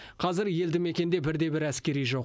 қазір елді мекенде бір де бір әскери жоқ